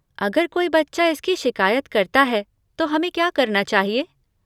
अगर कोई बच्चा इसकी शिकायत करता है तो हमें क्या करना चाहिए?